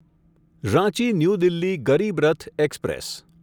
Ranchi new Delhi Garib Rath express